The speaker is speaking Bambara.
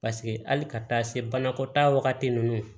Paseke hali ka taa se banakɔtaa wagati ninnu